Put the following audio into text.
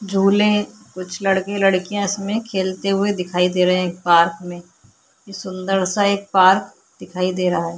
झूले कुछ लड़के लड़किया खेलते हुए दिखाई दे रहे है पार्क में सुन्दर सा एक पार्क दिखाई दे रहा है.